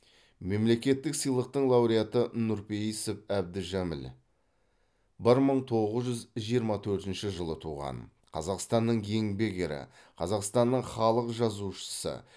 мемлекеттік сыйлықтың лауреаты нұрпейісов әбдіжәміл бір мың тоғыз жүз жиырма төртінші жылы туған қазақстанның еңбек ері қазақстанның халық жазушысы